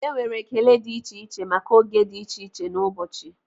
Enwere ekele dị iche iche maka oge dị iche iche n'ụbọchị.